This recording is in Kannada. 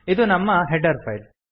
ಇದು ನಮ್ಮ ಹೆಡರ್ ಫೈಲ್